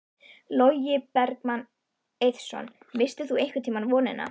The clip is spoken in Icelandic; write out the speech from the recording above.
Logi Bergmann Eiðsson: Misstir þú einhvern tímann vonina?